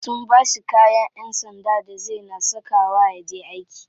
Sun bashi kayan yan sanda da zai na saka wa yaje aiki.